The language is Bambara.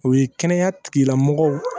O ye kɛnɛya tigilamɔgɔw